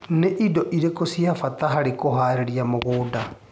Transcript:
Nĩ indo irĩkũ cia bata harĩ kũharĩria mũgũnda.